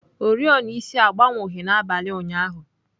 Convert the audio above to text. Oriọna isi agbanwughị n'abalị ụnyahụ.